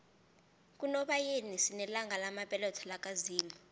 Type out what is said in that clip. kunobayeni sinelanga lamabeletho laka zimu